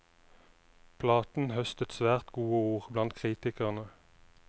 Platen høstet svært gode ord blant kritikerne.